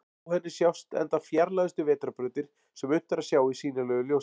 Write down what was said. Á henni sjást enda fjarlægustu vetrarbrautir sem unnt er að sjá í sýnilegu ljósi.